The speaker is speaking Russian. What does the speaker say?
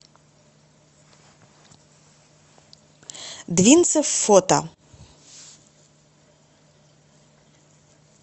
двинцев фото